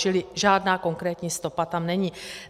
Čili žádná konkrétní stopa tam není.